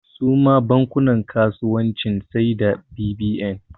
Suma bankunan kasuwanci sai da bbn